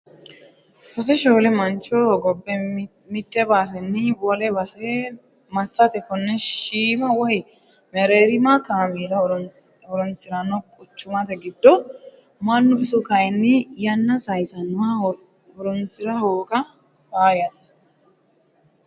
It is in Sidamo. Sase shoole mancho hogobbe mite baseni wole base massate kone shiima woyi mereerima kaameela horonsirano quchumate giddo mannu iso kayinni yanna saysinoha horonsira hooga faayyate.